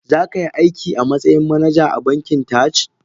Zakai aiki a matsayin manaja a bankin Taj?